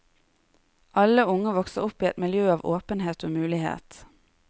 Alle unge vokser opp i et miljø av åpenhet og mulighet.